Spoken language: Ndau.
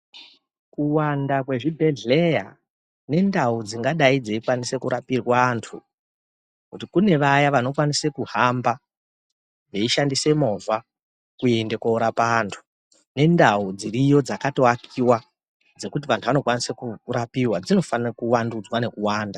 Kuwanda kwezvibhedhlera nendau dzingadai dzeikwanisa kurapirwe antu kune vaya vanokwanise kuhamba weishandisa movha kuenda kunorapa antu nendau dziriyo dzakatowakiwa dzekuti antu anokwanise kurapiwa dzinofanirwe kuwandudzwa nekuwanda.